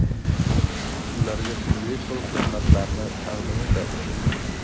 ularga turli xil xizmatlarni taqdim etadi.